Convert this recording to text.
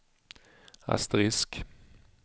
asterisk